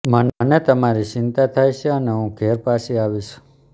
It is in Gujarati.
મને તમારી ચિંતા થાય છે અને હું ઘેર પાછી આવીશ